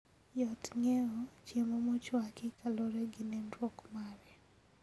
Yot ng'eyo chiemo mochwaki kaluore gi nenruok mare